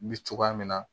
N bɛ cogoya min na